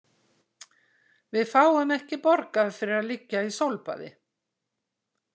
Við fáum ekki borgað fyrir að liggja í sólbaði.